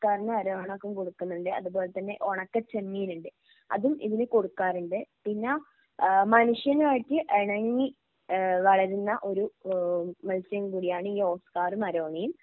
ഓസ്കാറിനു അരോണക്കും കൊടുക്കുന്നുണ്ട് അതുപോലെതന്നെ ഒണക്കച്ചെമ്മീനുണ്ട് അതും ഇതിന് കൊടുക്കാറുണ്ട് പിന്നെ ഏഹ് മനുഷ്യനുമായിട്ട് ഇണങ്ങി ഏഹ് വളരുന്ന ഒരു ഏഹ് മത്സ്യം കൂടിയാണ് ഈ ഓസ്കാറും അരോണയും